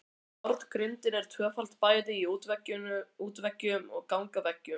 Járngrindin er tvöföld bæði í útveggjum og gangaveggjum.